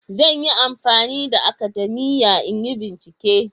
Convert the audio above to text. Zan yi amfani da akadamiya in yi bincike